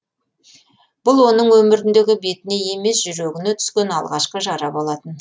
бұл оның өміріндегі бетіне емес жүрегіне түскен алғашқы жара болатын